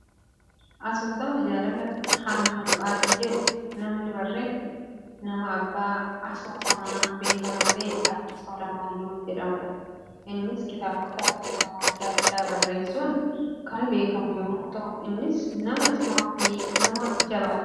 Asoosama jaalala hamma du'aatti jedhu namni barreesse, nama abbaa asoosamaa beekamaa ta'e, Addis Alamaayyoo jedhamudha. Innis kitaabota asoosamaa addaa addaa barreessuun kan beekamu yemmuu ta'u, innis nama cimaa fi nama jabaadha.